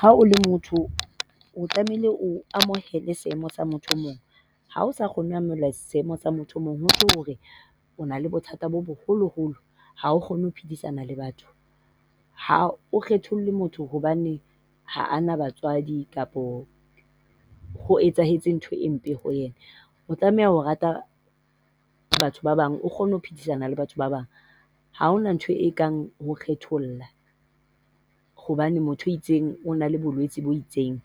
Ha o le motho o tlamehile o amohele seemo sa motho o mong ha o sa kgone ho amohela seemo sa motho o mong ho tjho hore o na le bothata bo boholoholo. Ha o kgone ho phedisana le batho. Ha o kgetholle motho hobane ha a na batswadi kapa ho etsahetse ntho e mpe ho yena. O tlameha ho rata batho ba bang, o kgone ho phedisana le batho ba bang. Ha hona ntho ekang ho kgetholla hobane motho e itseng o na le bolwetsi bo itseng.